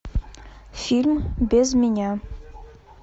фильм без меня